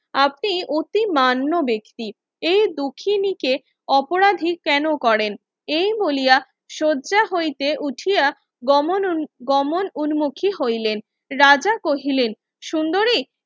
আপনি অতি মান্য বেক্তি এই দুখিনীকে অপরাধী কেন করেন এই বলিয়া সজ্জা হইতে উঠিয়া গমন গমন উৎমুখি হইলেন রাজা কহিলেন সুন্দরী